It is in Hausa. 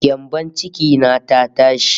Gyambon ciki na ta tashi